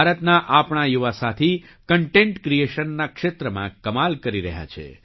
ભારતના આપણા યુવા સાથી કન્ટેન્ટ ક્રીએશનના ક્ષેત્રમાં કમાલ કરી રહ્યા છે